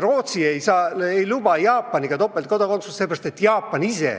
Rootsi ei luba Jaapaniga topeltkodakondsust, seepärast et Jaapan ise